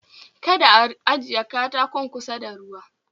Kada a ajiye katakon kusa da ruwa